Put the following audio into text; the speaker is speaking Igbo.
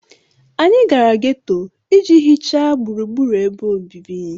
Anyị gara geto iji hichaa gburugburu ebe obibi